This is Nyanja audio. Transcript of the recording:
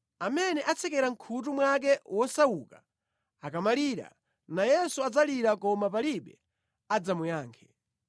Amene atsekera mʼkhutu mwake wosauka akamalira, nayenso adzalira koma palibe adzamuyankhe.